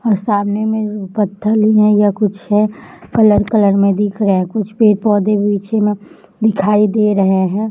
और सामने कुछ पत्थर जैसा कुछ है कलार कलार मैं दिख रहे हैं कुछ पेड़ पोधे पीछे मैं दिखाई रहे है।